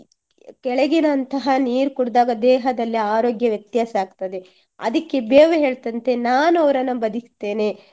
ಕೆಳಗಿನಂತಹ ನೀರು ಕುಡ್ದಾಗ ದೇಹದಲ್ಲಿ ಅರೋಗ್ಯ ವ್ಯತ್ಯಾಸ ಆಗ್ತದೆ. ಅದಿಕ್ಕೆ ಬೇವು ಹೇಳ್ತಂತೆ ನಾನು ಅವರನ್ನ ಬದಿಕಿಸ್ತೇನೆ